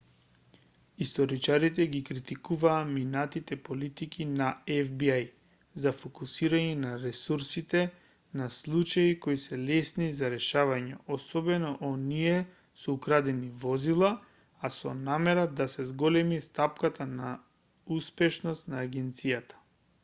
историчарите ги критикуваат минатите политики на фби за фокусирање на ресурсите на случаи кои се лесни за решавање особено оние со украдени возила а со намера да се зголеми стапката на успешност на агенцијата